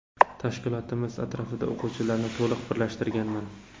Tashkilotimiz atrofida o‘quvchilarni to‘liq birlashtirganman.